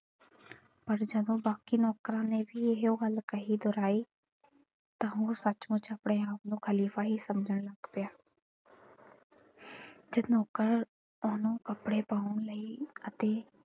ਪਰ ਜਦੋਂ ਬਾਕੀ ਨੌਕਰਾਂ ਨੇ ਵੀ ਇਹੋ ਗੱਲ ਕਹੀ ਦੁਹਰਾਈ ਤਾਂ ਉਹ ਸਚਮੁਚ ਆਪਣੇ ਆਪ ਨੂੰ ਖ਼ਲੀਫ਼ਾ ਹੀ ਸਮਝਣ ਲੱਗ ਪਿਆ ਜਦ ਨੌਕਰ ਉਹਨੂੰ ਕੱਪੜੇ ਪਾਉਣ ਲਈ ਅਤੇ,